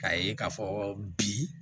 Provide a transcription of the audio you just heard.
K'a ye k'a fɔ bi